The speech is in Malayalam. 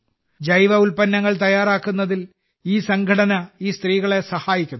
ജൈവ ഉൽപ്പന്നങ്ങൾ തയ്യാറാക്കുന്നതിൽ ഈ സംഘടന ഈ സ്ത്രീകളെ സഹായിക്കുന്നു